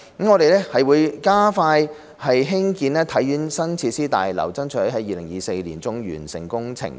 我們會加快興建體院的新設施大樓，爭取在2024年年中完成工程。